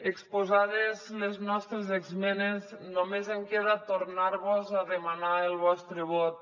exposades les nostres esmenes només em queda tornar vos a demanar el vostre vot